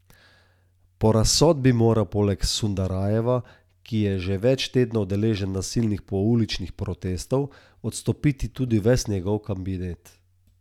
Po razsodbi mora poleg Sundaraveja, ki je že več tednov deležen nasilnih pouličnih protestov, odstopiti tudi ves njegov kabinet.